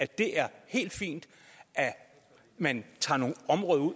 det er helt fint at man tager nogle områder ud og